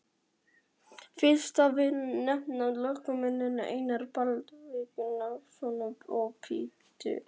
Fyrsta vil ég nefna lögmennina Einar Baldvin Guðmundsson og Pétur